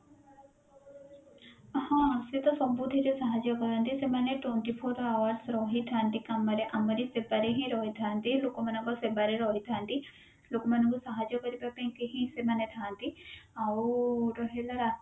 ହଁ ସେତ ସବୁଥିରେ ସାହାଜ୍ଯ କରନ୍ତି ସେମାନେ twenty four hours ରହଥାନ୍ତି କାମରେ ଆମରି ସେବାରେ ହିଁ ରହିଥାନ୍ତି ଲୋକମାନଙ୍କ ସେବାରେ ହିଁ ରହିଥାନ୍ତି ଲୋକମାନଙ୍କୁ ସାହାଜ୍ଯ କରିବା ପାଇଁ କି ହିଁ ସେମାନେ ଥାନ୍ତି ଆଉ ରହିଲା